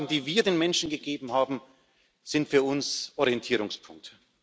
Die Zusagen, die wir den Menschen gegeben haben, sind für uns Orientierungspunkt.